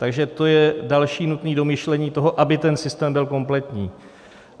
Takže to je další nutné domyšlení toho, aby ten systém byl kompletní.